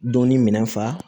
Donni minɛn fa